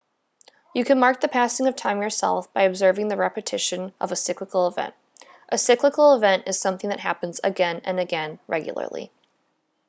you can mark the passing of time yourself by observing the repetition of a cyclical event a cyclical event is something that happens again and again regularly